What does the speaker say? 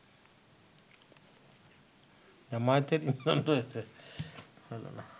জামায়াতের ইন্ধন রয়েছে